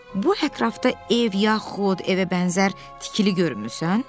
Bu ətrafda ev yaxud evə bənzər tikili görmürsən?